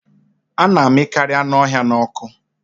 A na amịkarị anụ ọhịa n'ọkụ